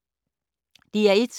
DR1